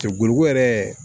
Cɛ boloko yɛrɛ